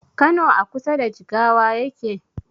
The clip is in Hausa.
Kano a kusa da jigawa yake?